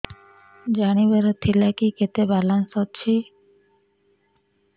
ଜାଣିବାର ଥିଲା କି କେତେ ବାଲାନ୍ସ ଅଛି